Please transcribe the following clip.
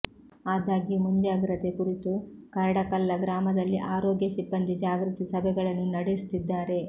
ಆದಾಗ್ಯೂ ಮುಂಜಾಗ್ರತೆ ಕುರಿತು ಕರಡಕಲ್ಲ ಗ್ರಾಮದಲ್ಲಿ ಆರೋಗ್ಯ ಸಿಬ್ಬಂದಿ ಜಾಗೃತಿ ಸಭೆಗಳನ್ನು ನಡೆಸುತ್ತಿದ್ದಾರೆ